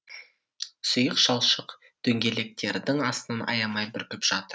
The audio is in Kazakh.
сұйық шалшық дөңгелектердің астынан аямай бүркіп жатыр